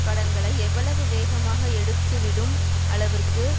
கடன்களை எவ்வளவு வேகமாகமாக எடுத்துவிடும் அளவுக்கு